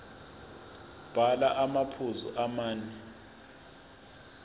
bhala amaphuzu amane